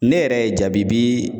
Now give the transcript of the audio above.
Ne yɛrɛ ye jabibii